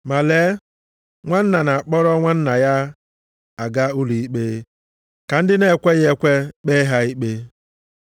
Ma lee, nwanna na-akpọrọ nwanna ya aga ụlọ ikpe, ka ndị na-ekweghị ekwe kpee ha ikpe! + 6:6 Nke a bụkwa nʼihu ndị na-ekweghị ekwe.